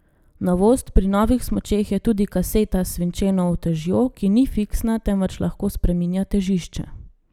Novost pri novih smučeh je tudi kaseta s svinčeno utežjo, ki ni fiksna, temveč lahko spreminja težišče.